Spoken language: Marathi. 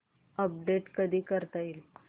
अपडेट कधी करता येईल